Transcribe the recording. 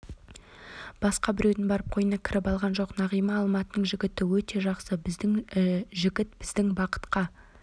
басқа біреудің барып қойнына кіріп алған жоқ нағима алматының жігіті өте жақсы жігіт біздің бақытқа